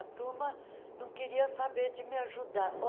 A turma não queria saber de me ajudar.